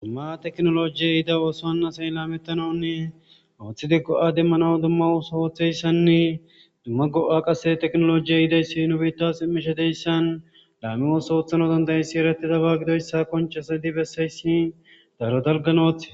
Dumma teknolojiye ida ooso anasay laametanonne ooththi diggo'a demmana dumma osa ooththeyssanne dumma go'a qase teknolojiyey idayssi nu biitta simmishe deyssan laame oosa oothano dandayessi ereti daba gido yssa konchasadi bessaysini daro dalgan ooththe.